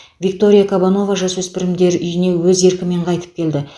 виктория кабанова жасөспірімдер үйіне өз еркімен қайтып келді